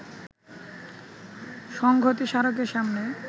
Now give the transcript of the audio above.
সংঘতি স্মারকের সামনে